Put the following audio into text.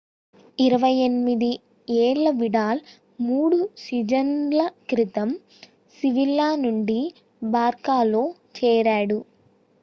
28 ఏళ్ల విడాల్ 3 సీజన్‌ల క్రితం sevilla నుండి barçaలో చేరాడు